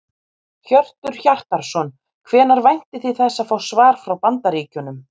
Hjörtur Hjartarson: Hvenær væntið þið þess að fá svar frá Bandaríkjunum?